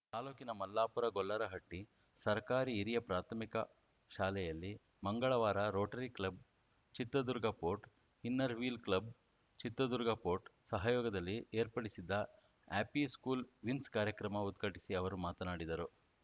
ತಾಲೂಕಿನ ಮಲ್ಲಾಪುರ ಗೊಲ್ಲರಹಟ್ಟಿಸರ್ಕಾರಿ ಹಿರಿಯ ಪ್ರಾಥಮಿಕ ಶಾಲೆಯಲ್ಲಿ ಮಂಗಳವಾರ rotary club Chitradurga fort inner wheel club Chitradurga fort ಸಹಯೋಗದಲ್ಲಿ ಏರ್ಪಡಿಸಿದ್ದ ಹ್ಯಾಪಿ ಸ್ಕೂಲ್‌ ವಿನ್ಸ್‌ ಕಾರ್ಯಕ್ರಮ ಉದ್ಘಾಟಿಸಿ ಅವರು ಮಾತನಾಡಿದರು